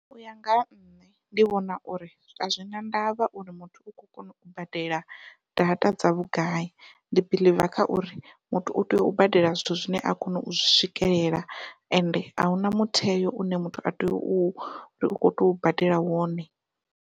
Uya nga ha nṋe ndi vhona uri azwi na ndavha uri muthu u khou kona u badela data dza vhugai, ndi believe kha uri muthu u tea u badela zwithu zwine a kona u zwi swikelela ende ahuna mutheo une muthu a tea u tou badela wone.